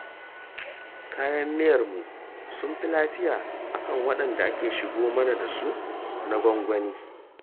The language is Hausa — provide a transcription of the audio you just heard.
Kayan miyarmu sun fi lafiya a kan waɗanda ake shigo mana da su na gwangwani